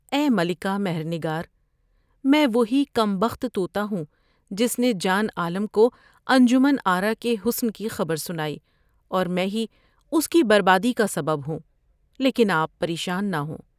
اے ملکہ مہر نگارا میں وہی کم بخت تو تا ہوں جس نے جان عالم کو انجمن آرا کے حسن کی خبر سنائی اور میں ہی اس کی بربادی کا سبب ہوں لیکن آپ پر یشان نہ ہوں ۔